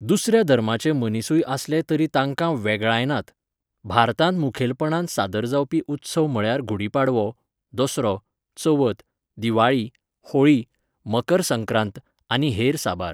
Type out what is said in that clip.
दुसऱ्या धर्माचे मनीसूय आसले तरी तांकां वेगळायनात. भारतांत मुखेलपणान सादर जावपी उत्सव म्हळ्यार घुडी पाडवो, दसरो, चवथ, दिवाळी, होळी, मकर सक्रांत आनी हेर साबार